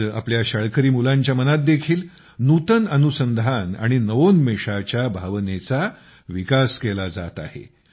आज आपल्या शाळकरी मुलांच्या मनात देखील नवीन संशोधनात आणि नवोन्मेषाच्या भावनेचा विकास केला जात आहे